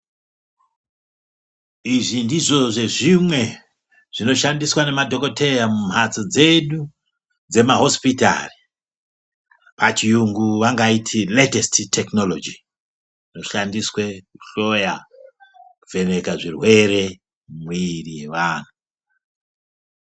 Izvi ndizvo zvezvimwe zvinoshandiswa ngemadhokodheya mumhatso dzedu pachiyungu vanoiti ratesi tekiniloji inoshandiswe kuhloya kuvheneka zvirwere mumwiri yevanhu.